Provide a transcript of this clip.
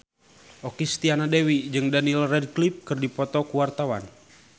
Okky Setiana Dewi jeung Daniel Radcliffe keur dipoto ku wartawan